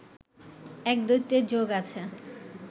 এক দৈত্যের যোগ আছে